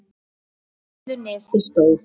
Á litlu nesi stóð